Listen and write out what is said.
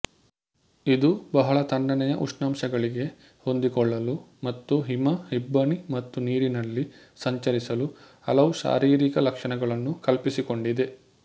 ಇದು ಬಹಳ ತಣ್ಣನೆಯ ಉಷ್ಣಾಂಶಗಳಿಗೆ ಹೊಂದಿಕೊಳ್ಳಲು ಮತ್ತು ಹಿಮ ಇಬ್ಬನಿ ಮತ್ತು ನೀರಿನಲ್ಲಿ ಸಂಚರಿಸಲು ಹಲವು ಶಾರೀರಿಕ ಲಕ್ಷಣಗಳನ್ನು ಕಲ್ಪಿಸಿಕೊಂಡಿದೆ